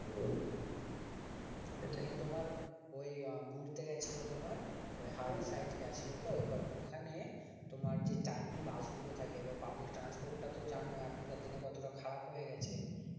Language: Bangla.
নিয়ে তোমার ওই ঘুরতে গেছিল তোমার ওই হাওড়ার side গেছিল তো এবার ওখানে তোমার যে timing বাস গুলো থাকে public transport টা তো জানো এখনকার দিনে কতটা খারাপ হয়ে গেছে